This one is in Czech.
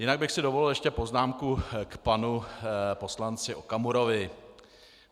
Jinak bych si dovolil ještě poznámku k panu poslanci Okamurovi.